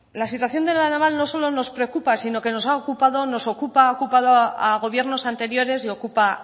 la situación de la naval no solo nos preocupa sino que nos ha ocupado nos ocupa ha ocupado a gobiernos anteriores y ocupa